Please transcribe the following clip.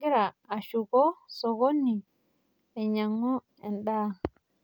Kagira ashuko sokoni ainyang'u endaa.